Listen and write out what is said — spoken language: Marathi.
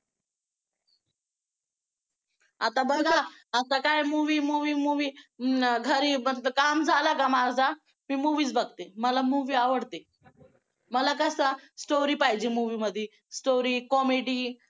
आता बघा आता काय movie movie movie घरी फक्त काम झालं का माझा मी movie च बघते मला movie आवडते. मला कसं story पाहिजे movie मध्ये story comedy